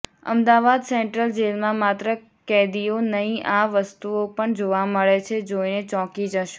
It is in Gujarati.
અમદાવાદ સેન્ટ્રલ જેલમાં માત્ર કેદીઓ નહીં આ વસ્તુઓ પણ જોવા મળે છે જોઈને ચોંકી જશો